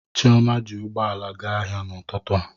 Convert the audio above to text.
Chioma ji ụgbọ ala gaa ahịa n'ụtụtụ a.